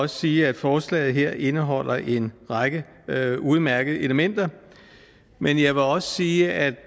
sige at forslaget her indeholder en række udmærkede elementer men jeg vil også sige at